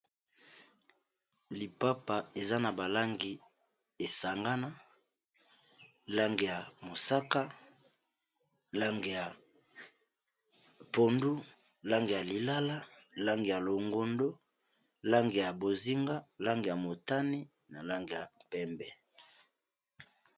lipapa eza na balangi esangana lange ya mosaka lange ya pondu lange ya lilala lange ya longondo lange ya bozinga lange ya motani na lange ya pembe